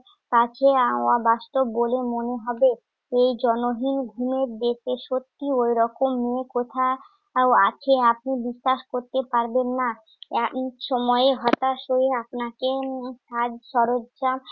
কাছে আহ অবাস্তব বলে মনে হবে এই জনহীন ভূমে দেখে। সত্যি ওইরকম মেয়ে কোথাও আছে আপনি বিশ্বাস করতে পারবেন না। এহেন সময়ে হতাশ হয়ে আপনাকে উম সাজসরঞ্জাম